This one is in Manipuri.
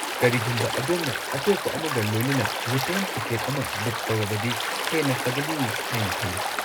ꯀꯔꯤꯒꯨꯝꯕ ꯑꯗꯣꯝꯅ ꯑꯇꯣꯞꯄ ꯑꯃꯒ ꯂꯣꯏꯅꯅ ꯔꯤꯇꯔꯟ ꯇꯤꯀꯦꯠ ꯑꯃ ꯕꯨꯛ ꯇꯧꯔꯕꯗꯤ ꯍꯦꯟꯅ ꯐꯒꯅꯤ ꯍꯥꯏꯅ ꯈꯜꯂꯤ꯫